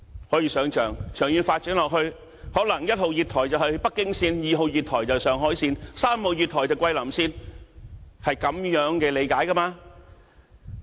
可以想象，長遠發展下去，可能1號月台是北京線 ，2 號月台是上海線 ，3 號月台是桂林線，是這樣理解的。